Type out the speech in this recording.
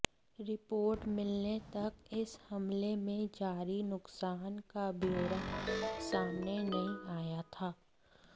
report मिलने तक इस हमले में जारी नुक़सान का ब्योरा सामने नहीं आया था